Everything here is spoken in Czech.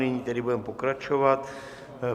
Nyní tedy budeme pokračovat.